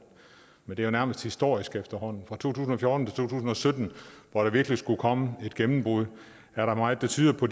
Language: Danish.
men det er nærmest historisk fra to tusind og fjorten tusind og sytten hvor der virkelig skulle komme et gennembrud er der meget der tyder på